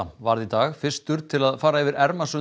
varð í dag fyrstur til að fara yfir